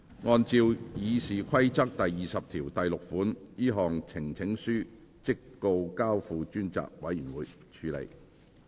按照《議事規則》第206條，這項呈請書即告交付專責委員會處理。